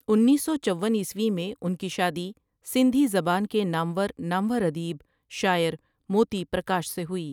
انیس سو چوون عیسوی میں ان کی شادی سندھی زبان کے نامور نامورادیب، شاعر موتی پرکاش سے ہوئی ۔